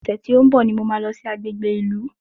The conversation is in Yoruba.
Ọ̀sẹ̀ tí ó ń bọ̀ ni mo máa lọ sí agbègbè ìlú